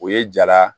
O ye jala